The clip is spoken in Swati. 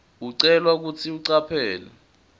ucelwa kutsi ucaphele